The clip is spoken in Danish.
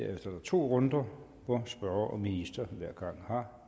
er der to runder hvor spørger og minister hver gang har